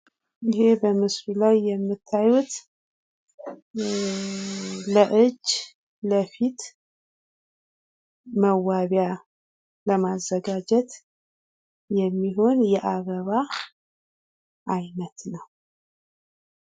ይሄ በምስሉ ላይ የምታዩት ለእጅ፣ ለፊት መዋቢያ ለማዘጋጀት የሚሆን የአበባ አይነት ነው።